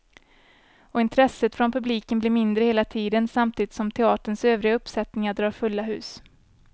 Och intresset från publiken blir mindre hela tiden, samtidigt som teaterns övriga uppsättningar drar fulla hus.